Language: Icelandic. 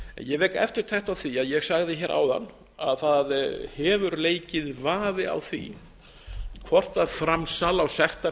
ég vek eftirtekt á því að ég sagði hér áðan að það hefur leikið vafi á því hvort framsal á